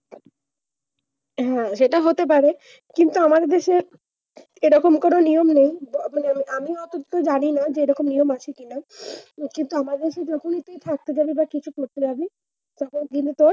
হ্যাঁ সেটা হতে পারে কিন্তু, আমার দেশে এরকম কোনো নিয়ম নেই। আমি অন্তত জানিনা যে এরকম নিয়ম আছে কিনা। কিন্তু আমাদের দেশে যখনি তুই hospital এ বা কিছু করতে যাবি তখন কিন্তু তোর,